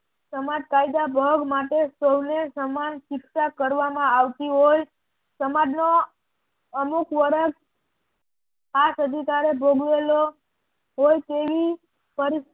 સમાજ કાયદા ભોગ માટે સૌને સમાન શિક્ષા કરવામાં આવતી હોય સમાજનો અમુક વર્ષ આ સદી કાળે ભોગવેલો હોય તેવી પરી